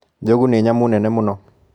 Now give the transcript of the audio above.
Njogu nĩ nyamũ nene mũno.